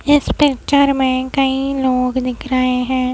इस पिक्चर में कई लोग दिख रहे हैं।